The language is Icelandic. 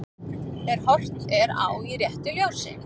Ef horft er á í réttu ljósi.